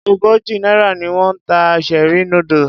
Ogójì náírà ni wón ń ta cherie noodles.